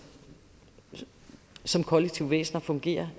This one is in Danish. som kollektive væsener fungerer